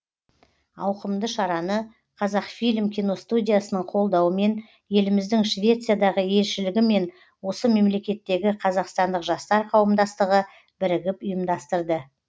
ауқымды шараны қазақфильм киностудиясының қолдауымен еліміздің швециядағы елшілігі мен осы мемлекеттегі қазақстандық жастар қауымдастығы бірігіп ұйымдастырды